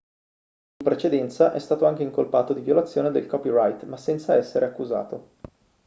in precedenza è stato anche incolpato di violazione del copyright ma senza essere accusato